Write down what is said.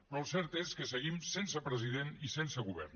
però el cert és que seguim sense president i sense govern